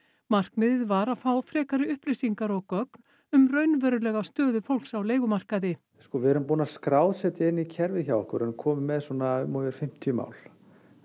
markmiðið var að fá frekari upplýsingar og gögn um raunverulega stöðu fólks á leigumarkaði sko við erum búin að skrásetja inn í kerfið hjá okkur við erum komin með svona um og yfir fimmtíu mál